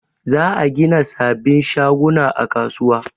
Za a gina sabin shaguna a kasuwa